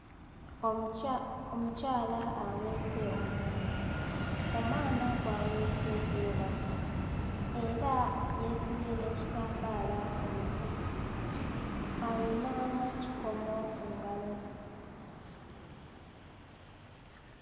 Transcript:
Omukya omukyala aweese omwana, omwana gw'aweese yeebase era yeesibye n'ekitambaala ku mutwe, ayina n'ekikomo ku ngalo ze.